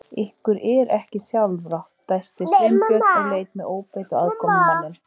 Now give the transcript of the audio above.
Ykkur er ekki sjálfrátt- dæsti Sveinbjörn og leit með óbeit á aðkomumanninn.